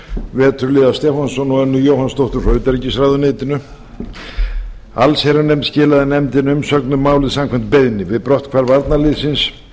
veturliða stefánsson og önnu jóhannsdóttur frá utanríkisráðuneytinu allsherjarnefnd skilaði nefndinni umsögn um málið samkvæmt beiðni við brotthvarf varnarliðsins